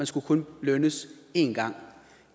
skulle kun lønnes en gang